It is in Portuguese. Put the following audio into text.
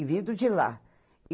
E vindo de lá.